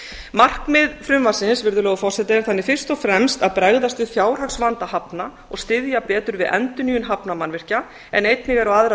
markmið frumvarpsins virðulegur forseti er fyrst og fremst að bregðast við fjárhagsvanda hafna og styðja betur við endurnýjun hafnarmannvirkja en einnig eru aðrar